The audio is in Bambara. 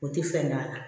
O tɛ fɛn gan